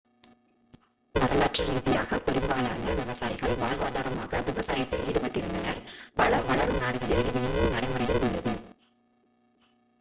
வரலாற்று ரீதியாக பெரும்பாலான விவசாயிகள் வாழ்வாதாரமாக விவசாயத்தில் ஈடுபட்டிருந்தனர் பல வளரும் நாடுகளில் இது இன்னும் நடைமுறையில் உள்ளது